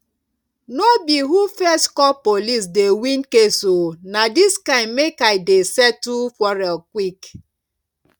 no be who first call police dey win case o na dis kind make i dey settle quarrel quick